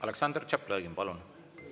Aleksandr Tšaplõgin, palun!